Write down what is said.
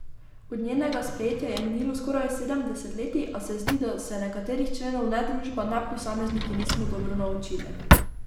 Od njenega sprejetja je minilo skoraj sedem desetletij, a se zdi, da se nekaterih členov ne družba ne posamezniki nismo dobro naučili.